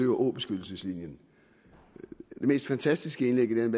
åbeskyttelseslinjen det mest fantastiske indlæg i den